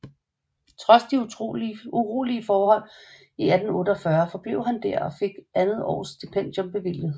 Trods de urolige forhold i 1848 forblev han der og fik andet års stipendium bevilget